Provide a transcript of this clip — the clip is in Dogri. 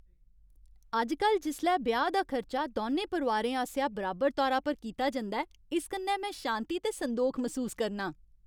अजकल जिसलै ब्याह् दा खर्चा दौनें परोआरें आसेआ बराबर तौरा पर कीता जंदा ऐ, इस कन्नै में शांति ते संदोख मसूस करनां।